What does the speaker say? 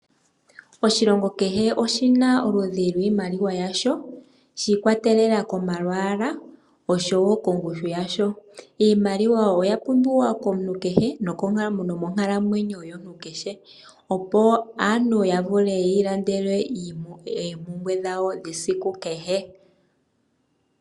Oshilongo kehe oshi na oludhi lwiimaliwa yasho shiikwatelela komalwaala oshowo kongushu yasho. Iimaliwa oya pumbiwa komuntu kehe nomonkalamwenyo yomuntu kehe opo aantu ya vule yiilandele oompumbwe dhawo dhesiku kehe.